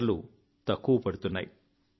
మాటలు తక్కువ పడుతున్నాయి